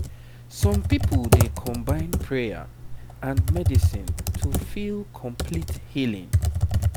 some people dey combine prayer and medicine to feel complete healing